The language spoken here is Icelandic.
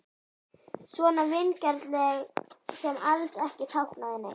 Svona vingjarnleg sem alls ekki táknaði neitt.